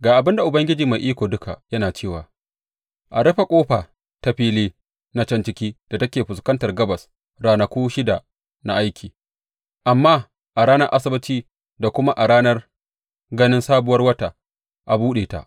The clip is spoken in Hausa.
Ga abin da Ubangiji Mai Iko Duka yana cewa a rufe ƙofa ta fili na can cikin da take fuskantar gabas ranaku shida na aiki, amma a ranar Asabbaci da kuma a ranar ganin Sabuwar Wata a buɗe ta.